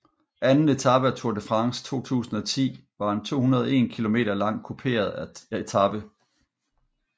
Anden etape af Tour de France 2010 var en 201 km lang kuperet etape